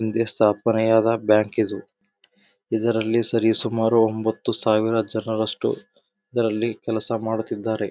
ಇಂದೆ ಸ್ಥಾಪನೆಯಾದ ಬ್ಯಾಂಕಿದು ಇದರಲ್ಲಿ ಸರಿ ಸುಮಾರು ಒಂಬತ್ತು ಸಾವಿರ ಜನರಸ್ಟು ಇದರಲ್ಲಿ ಕೆಲಸ ಮಾಡುತಿದ್ದಾರೆ.